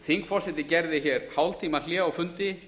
þingforseti gerði hér hálftímahlé á fundi